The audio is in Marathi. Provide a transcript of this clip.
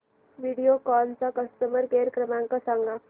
व्हिडिओकॉन चा कस्टमर केअर क्रमांक सांगा